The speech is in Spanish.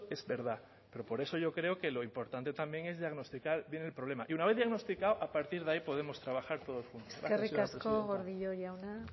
es verdad pero por eso yo creo que lo importante también es diagnosticar bien el problema y una vez diagnosticado a partir de ahí podemos trabajar todos juntos eskerrik asko gordillo jauna